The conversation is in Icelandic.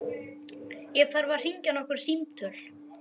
Ég þarf að hringja nokkur símtöl.